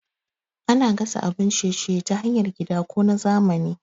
Ana gasa abun ciye-ciye ta hanyar gida ko na zamani.